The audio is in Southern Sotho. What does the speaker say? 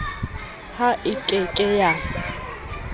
ha e ke ke ya